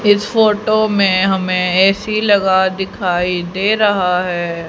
इस फोटो में हमें ए_सी लगा दिखाई दे रहा है।